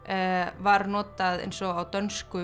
var notað eins og á dönsku